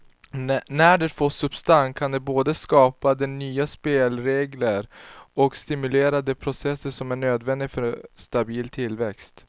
När det får substans kan det både skapa de nya spelregler och stimulera de processer som är nödvändiga för stabil tillväxt.